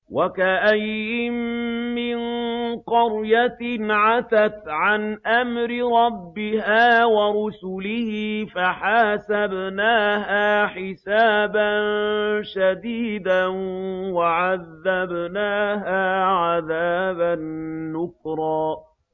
وَكَأَيِّن مِّن قَرْيَةٍ عَتَتْ عَنْ أَمْرِ رَبِّهَا وَرُسُلِهِ فَحَاسَبْنَاهَا حِسَابًا شَدِيدًا وَعَذَّبْنَاهَا عَذَابًا نُّكْرًا